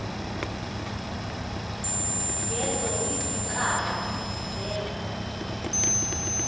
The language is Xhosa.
zeezo izicaka zeza